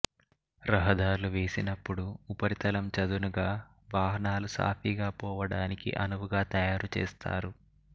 రహదార్లు వేసినప్పుడు ఉపరితలం చదునుగా వాహనాలు సాఫీగా పోవడానికి అనువుగా తయారుచేస్తారు